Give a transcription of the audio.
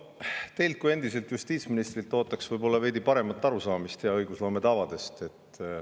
Teilt kui endiselt justiitsministrilt ootaks veidi paremat arusaamist hea õigusloome tavadest.